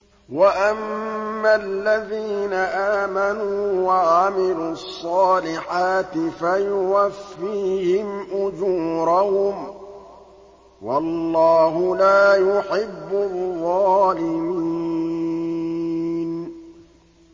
وَأَمَّا الَّذِينَ آمَنُوا وَعَمِلُوا الصَّالِحَاتِ فَيُوَفِّيهِمْ أُجُورَهُمْ ۗ وَاللَّهُ لَا يُحِبُّ الظَّالِمِينَ